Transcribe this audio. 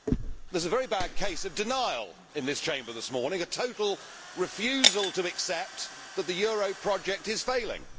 Mr President, there is a very bad case of denial in this Chamber this morning, a total refusal to accept that the euro project is failing.